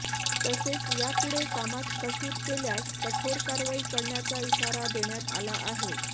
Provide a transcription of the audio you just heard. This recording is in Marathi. तसेच यापुढे कामात कसूर केल्यास कठोर कारवाई करण्याचा इशारा देण्यात आला आहे